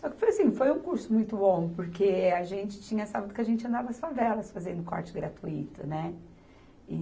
Só que foi assim, foi um curso muito bom, porque a gente, tinha sábado que a gente andava as favelas fazendo corte gratuito, né?